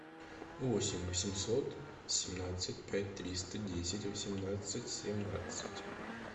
восемь восемьсот семнадцать пять триста десять восемнадцать семнадцать